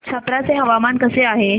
छप्रा चे हवामान कसे आहे